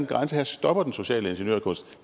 grænse her og stopper den sociale ingeniørkunst